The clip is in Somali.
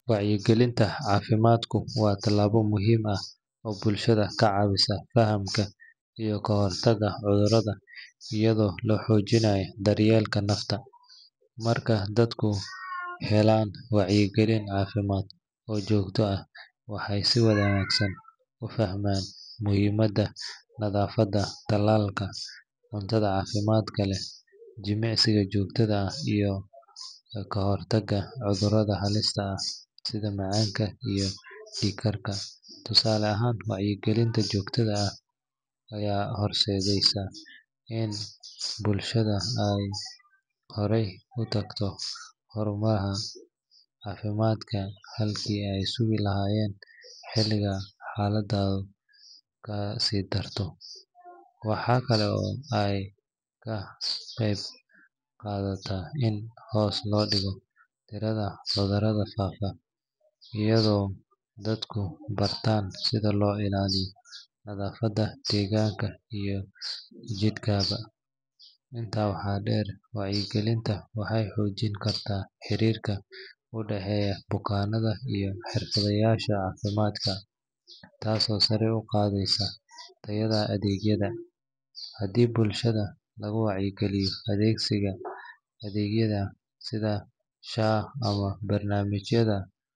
Wacyigelinta caafimaadku waa tallaabo muhiim ah oo bulshada ka caawisa fahamka iyo ka hortagga cudurrada iyadoo la xoojinayo daryeelka nafta. Marka dadku helaan wacyigelin caafimaad oo joogto ah, waxay si wanaagsan u fahmaan muhiimadda nadaafadda, talaalka, cuntada caafimaadka leh, jimicsiga joogtada ah iyo kahortagga cudurrada halista ah sida macaanka iyo dhiig-karka. Tusaale ahaan, wacyigelinta joogtada ah ayaa horseedaysa in bulshada ay horay u tagto xarumaha caafimaadka halkii ay sugi lahaayeen xilliga xaaladdu ka sii darto. Waxaa kale oo ay ka qaybqaadataa in hoos loo dhigo tirada cudurrada faafa iyadoo dadku bartaan sida loo ilaaliyo nadaafadda deegaanka iyo jidhkaba. Intaa waxaa dheer, wacyigelintu waxay xoojin kartaa xiriirka u dhexeeya bukaanada iyo xirfadlayaasha caafimaadka, taasoo sare u qaadaysa tayada adeegyada. Haddii bulshada lagu wacyigeliyo adeegsiga adeegyada sida SHA ama barnaamijyada.